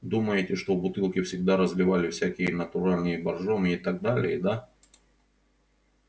думаете что в бутылки всегда разливали всякие натуральные боржоми и так далее да